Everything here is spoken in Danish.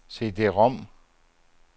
CD-rom